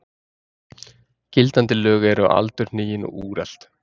Gildandi lög eru aldurhnigin og úrelt.